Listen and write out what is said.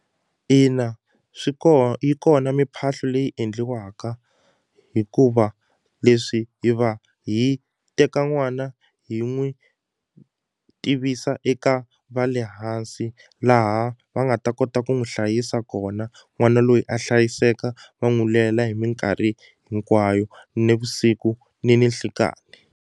Ina swi yi kona mimphahlo leyi endliwaka hikuva leswi hi va hi teka n'wana hi n'wi tivisa eka va le hansi laha va nga ta kota ku n'wi hlayisa kona n'wana loyi a hlayiseka va n'wi lela hi minkarhi hinkwayo nivusiku ni ninhlikani.